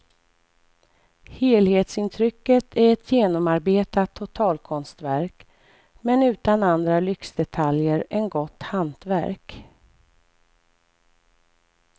Helhetsintrycket är ett genomarbetat totalkonstverk, men utan andra lyxdetaljer än gott hantverk.